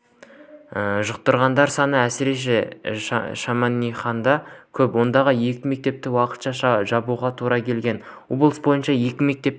жұқтырғандар саны әсіресе шемонаихада көп ондағы екі мектепті уақытша жабуға тура келген облыс бойынша екі мектепке